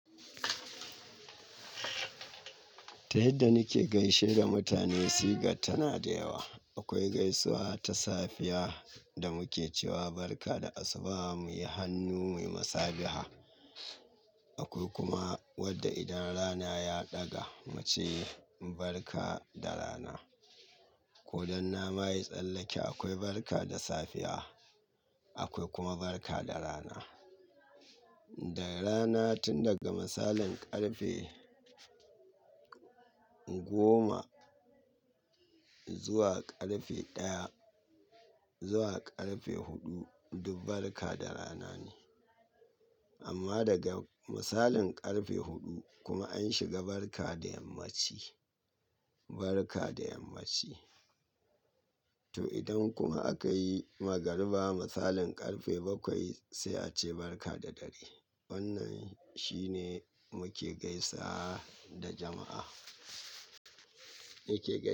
Ta yadda nike gaishe da mutane sigar tana da yawa. Akwai gaisuwa ta safiya da muke cewa barka da asuba muyi hannu muyi masabiha. Akwai kuma wadda idan rana ya ɗaga muce barka da rana. Ko dan nama yi tsallake akwai barka da safiya, akwai kuma barka da rana. Da rana tun daga misalin ƙarfe goma zuwa ƙarfe ɗaya zuwa ƙarfe huɗu duk barka da rana ne. Amma daga misalin ƙarfe huɗu kuma an shiga barka da yammaci, barka da yammaci. To idan kuma aka yi magariba misalin ƙarfe bakwai sai a ce barka da dare. Wannan shine muke gaisa da jama'a.